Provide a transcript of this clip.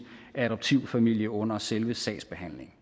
adoptivfamilie under selve sagsbehandlingen